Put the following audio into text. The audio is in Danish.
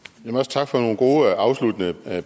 tak for nogle gode afsluttende